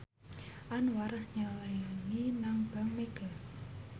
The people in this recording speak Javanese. Anwar nyelengi nang bank mega